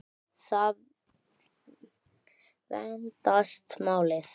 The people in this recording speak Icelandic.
Þá vandast málið.